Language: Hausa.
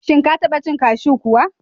Shin Ka taba cin kashew kuwa?